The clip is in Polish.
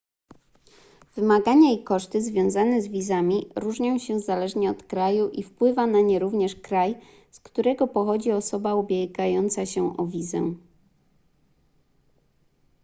wymagania i koszty związane z wizami różnią się zależnie od kraju i wpływa na nie również kraj z którego pochodzi osoba ubiegająca się o wizę